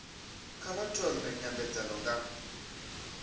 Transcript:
kha vha thome nymbedzano nga